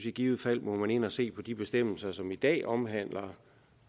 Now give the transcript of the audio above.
i givet fald må ind og se på om de bestemmelser som i dag omhandler